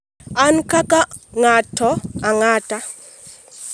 an kaka ng'ato ang'ata